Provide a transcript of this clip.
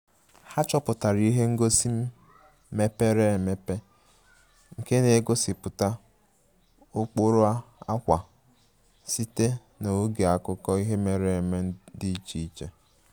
Ha chọpụtara ihe ngosi mepere emepe nke na-egosipụta ụkpụrụ akwa sitere na oge akụkọ ihe mere eme dị iche iche